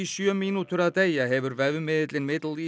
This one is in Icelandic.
sjö mínútur að deyja hefur vefmiðillinn